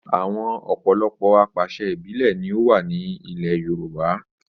Àwọn ọ̀pọ̀lọpọ̀ apàṣẹ ìbílẹ̀ ni ó wà ní ilẹ̀ Yorùbá